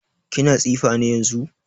Kini tsifa ne yanzun?